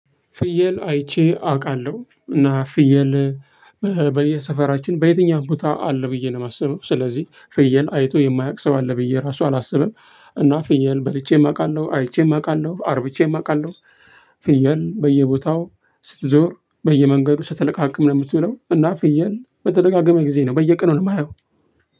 ፍየል አይቼ አቃለሁ። እና ፍየል በየሰፈራችን፣ በየትኛውም ቦታ አለ ብዬ ነው ማስበው። ስለዚህ፣ ፍየል አይቶ የማያቅ ሰው አለ ብዬ እራሱ አላስብም። እና ፍየል በልቼም አቃለሁ። አይቼም አቃለሁ። አርብቼም አቃለሁ። ፍየል በየቦታው ስትዞር፣ በየመንገዱ ስትለቃቅም ነው ምትውለው። እና ፍየል በተደጋጋሚ ጊዜ ነው፣ በየቀኑ ነው የማየው።